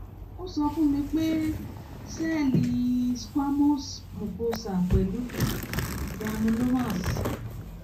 ó sọ fún ó sọ fún mi pé ó sọ pé sẹẹlì squamous mucosa pẹlú granulomas